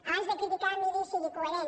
abans de criticar miri i sigui coherent